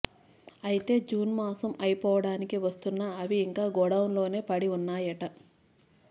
అయితే జూన్ మాసం అయిపోడానికి వస్తున్నా అవి ఇంకా గోడౌన్లోనే పడి ఉన్నాయట